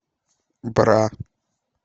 бра